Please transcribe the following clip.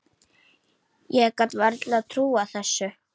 Ég gat varla trúað þessu.